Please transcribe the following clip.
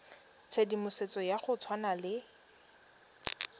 tshedimosetso ya go tshwana le